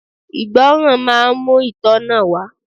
Ìgbọràn máa ń mú itona wá.